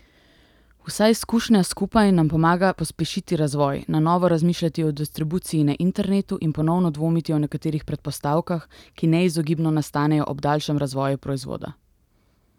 Vsa izkušnja skupaj nam pomaga pospešiti razvoj, na novo razmišljati o distribuciji na internetu in ponovno dvomiti o nekaterih predpostavkah, ki neizogibno nastanejo ob daljšem razvoju proizvoda.